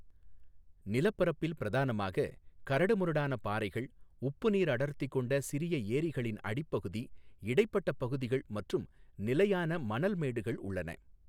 நிலப்பரப்பில் பிரதானமாக, கரடுமுரடான பாறைகள், உப்பு நீர் அடர்த்தி கொண்ட சிறிய எரிகளின் அடிப்பகுதி, இடைப்பட்ட பகுதிகள் மற்றும் நிலையான மணல் மேடுகள் உள்ளன.